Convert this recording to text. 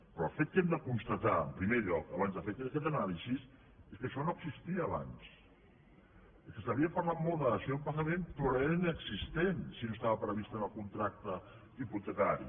però el fet que hem de constatar en primer lloc abans de fer aquesta anàlisi és que això no existia abans és que s’havia parlat molt de dació en pagament però era inexistent si no estava previst en el contracte hipotecari